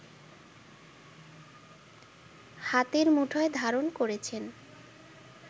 হাতের মুঠোয় ধারণ করেছেন